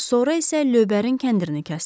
Sonra isə lövbərin kəndirini kəsdi.